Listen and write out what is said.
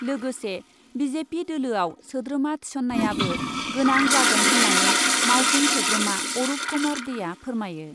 लोगोसे B J P दोलोआव सोद्रोमा थिसन्नायाबो गोनां जागोन होन्नानै मावफुं सोद्रोमा अरुप कुमार देआ फोरमायो।